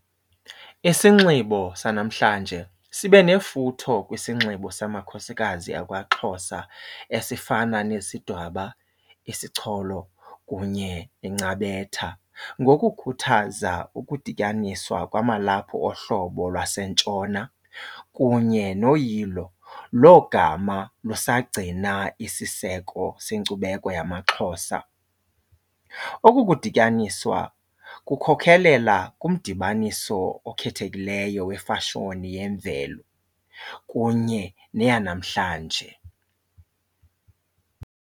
Isinxibo sanamhlanje sibe nefuthe kwisinxibo samakhosikazi akwaXhosa esifana nesidwaba, isicholo kunye nencabetha, ngokukhuthaza ukudityaniswa kwamalaphu ohlobo lwasentshona kunye noyilo logama lusagcina isiseko senkcubeko yamaXhosa. Oku kudityaniswa kukhokhelela kumdibaniso okhethekileyo wefashoni yemvelo kunye neyanamhlanje.